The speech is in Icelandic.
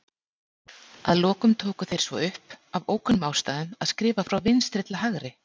Að lokum tóku þeir svo upp, af ókunnum ástæðum, að skrifa frá vinstri til hægri.